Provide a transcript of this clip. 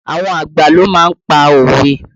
Àwọn àgbà ló má ń pa òwe